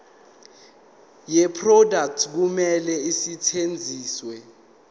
yeproduct kumele isetshenziswe